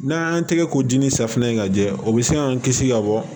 N'an y'an tɛgɛ ko ji ni safinɛ in ka jɛ o bɛ se k'an kisi ka bɔ